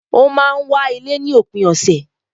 O máa n wá ilé ní òpin ọ̀sẹ̀